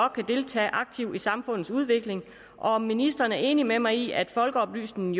kan deltage aktivt i samfundsudviklingen og om ministeren er enig med mig i at folkeoplysningen